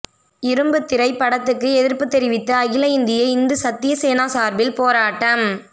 இரும்புத்திரை படத்துக்கு எதிர்ப்பு தெரிவித்து அகில இந்திய இந்து சத்திய சேனா சார்பில் போராட்டம்